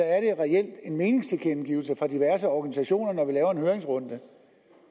en meningstilkendegivelse fra diverse organisationer når vi laver en høringsrunde